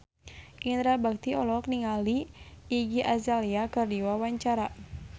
Indra Bekti olohok ningali Iggy Azalea keur diwawancara